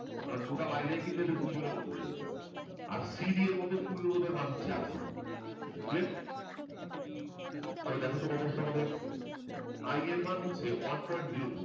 তারমানে total i টা কিন্তু এদের দুজনের মধ্যে আছে আর cd এর মধ্যে তুল্য রোধের মান হচ্ছে rcb clear তবে দেখো তো কত আসলো তোমাদের i এর মান হচ্ছে one point zero two